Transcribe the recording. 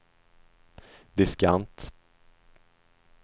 diskant